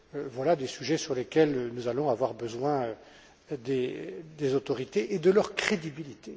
voilà des sujets sur lesquels nous allons avoir besoin des autorités et de leur crédibilité.